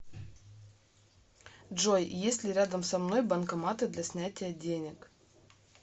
джой есть ли рядом со мной банкоматы для снятия денег